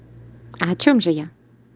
а о чём же я